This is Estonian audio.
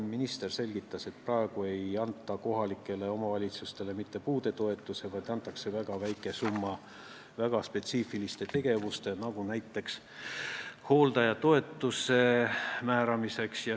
Minister selgitas, et praegu ei anta kohalikele omavalitsustele mitte puudetoetusi, vaid antakse väga väike summa väga spetsiifiliste tegevuste, nagu näiteks hooldajatoetuse määramiseks.